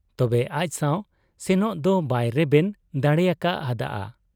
ᱛᱚᱵᱮ ᱟᱡᱥᱟᱶ ᱥᱮᱱᱚᱜ ᱫᱚ ᱵᱟᱭ ᱨᱮᱵᱮᱱ ᱫᱟᱲᱮᱭᱟᱠᱟ ᱦᱟᱫ ᱟ ᱾